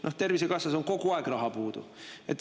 Noh, Tervisekassas on kogu aeg raha puudu.